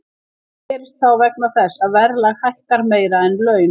Það gerist þá vegna þess að verðlag hækkar meira en laun.